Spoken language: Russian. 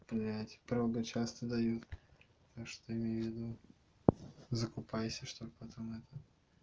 блять правда часто дают так что имей в виду закупайся чтобы потом это